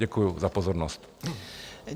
Děkuji za pozornost.